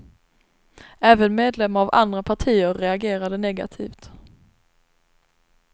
Även medlemmar av andra partier reagerade negativt.